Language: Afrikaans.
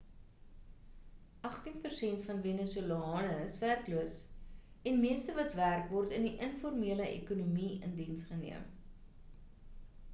agtien persent van venezolane is werkloos en meeste wat werk word in die informele ekonomie in diens geneem